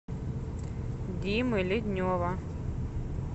димы леднева